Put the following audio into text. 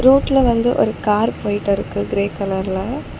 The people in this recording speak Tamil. ரோட்ல வந்து ஒரு கார் போயிட்டிருக்கு கிரே கலர்ல .